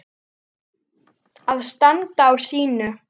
Að standa á sínu